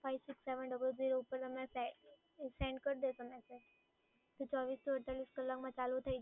five six seven double zero પર તમે સે સેન્ડ કર દેશો ને તો ચોવીસથી અડતાલીસ કલાકમાં ચાલુ થઈ